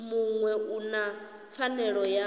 muṅwe u na pfanelo ya